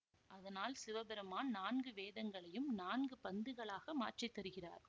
அதனால் சிவபெருமான் நான்கு வேதங்களையும் நான்கு பந்துகளாக மாற்றி தருகிறார்